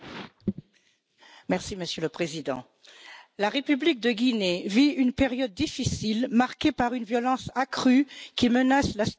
Monsieur le Président, la République de Guinée vit une période difficile, marquée par une violence accrue qui menace la stabilité démocratique.